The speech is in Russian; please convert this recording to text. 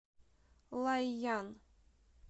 лайян